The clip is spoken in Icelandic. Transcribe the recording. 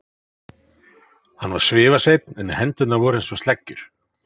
Hann var svifaseinn en hendurnar voru einsog sleggjur.